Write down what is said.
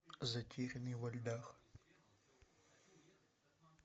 затерянные во льдах